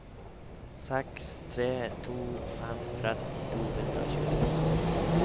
seks tre to fem tretten to hundre og tjueto